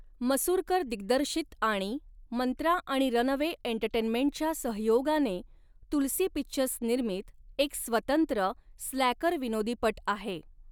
मसुरकर दिग्दर्शित आणि मंत्रा आणि रनअवे एंटरटेनमेंटच्या सहयोगाने तुलसी पिक्चर्स निर्मित एक स्वतंत्र, स्लॅकर विनोदीपट आहे.